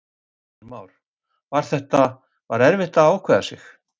Heimir Már: Var þetta, var erfitt að ákveða sig?